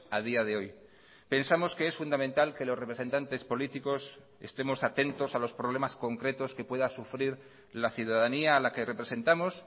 a día de hoy pensamos que es fundamental que los representantes políticos estemos atentos a los problemas concretos que pueda sufrir la ciudadanía a la que representamos